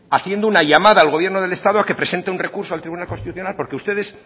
haciendo una llamada al gobierno del estado a que presente un recurso al tribunal constitucional porque ustedes